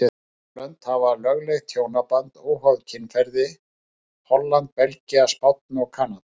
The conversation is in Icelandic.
Fjögur lönd hafa lögleitt hjónaband óháð kynferði, Holland, Belgía, Spánn og Kanada.